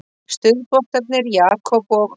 Stuðboltarnir Jakob og